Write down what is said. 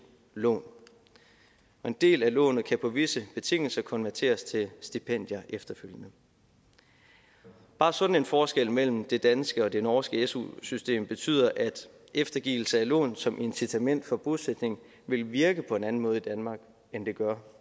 lån og en del af lånet kan på visse betingelser konverteres til stipendier efterfølgende bare sådan en forskel mellem det danske og det norske su system betyder at eftergivelse af lån som incitament for bosætning ville virke på en anden måde i danmark end det gør